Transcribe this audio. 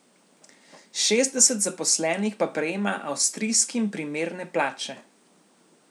Šestdeset zaposlenih pa prejema avstrijskim primerne plače.